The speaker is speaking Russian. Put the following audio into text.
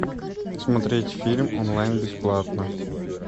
смотреть фильм онлайн бесплатно